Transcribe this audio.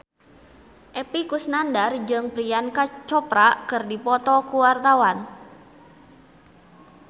Epy Kusnandar jeung Priyanka Chopra keur dipoto ku wartawan